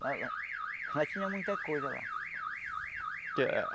Nós tínhamos muita coisa lá. Que